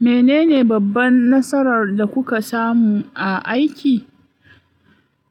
Menene babban nasarar da kuka samu a aiki?